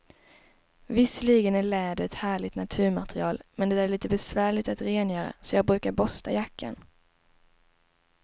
Visserligen är läder ett härligt naturmaterial, men det är lite besvärligt att rengöra, så jag brukar borsta jackan.